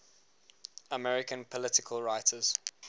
american political writers